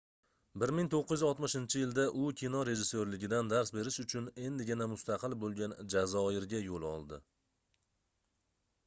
1960-yilda u kino rejissyorligidan dars berish uchun endigina mustaqil boʻlgan jazoirga yoʻl oldi